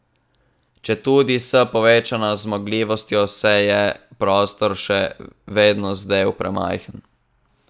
Četudi s povečano zmogljivostjo, se je prostor še vedno zdel premajhen.